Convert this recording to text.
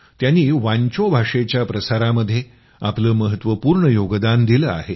त्यांनी वांचो भाषेच्या प्रसारामध्ये आपलं महत्वपूर्ण योगदान दिलं आहे